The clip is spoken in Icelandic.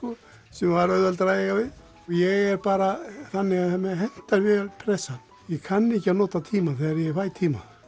sem var auðveldara að eiga við ég er bara þannig að mér hentar vel pressan ég kann ekki að nota tímann þegar ég fæ tíma